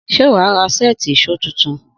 Sé wàá ra sètí ìsó titun?